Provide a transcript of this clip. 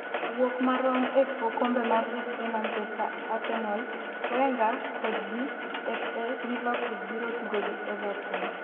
wuok marom e okombe mar FA Manchester Arsenal Wenger kodgi FA .Liverpool biro tugo gi Everton